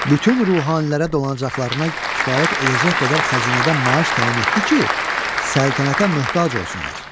Bütün ruhanilərə dolanacaqlarına kifayət edəcək qədər xəzinədən maaş təyin etdi ki, səltənətə möhtac olsunlar.